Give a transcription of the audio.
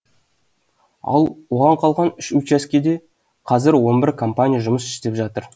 ал оған қалған үш учаскеде қазір он бір компания жұмыс істеп жатыр